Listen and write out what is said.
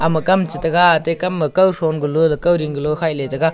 makam chataga tekam ma kau tron kauding hiley taga.